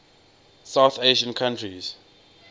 south asian countries